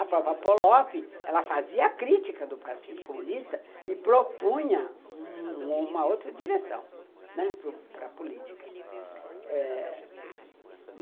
A própria Polop, ela fazia crítica do Partido Comunista e propunha um uma outra direção para a política eh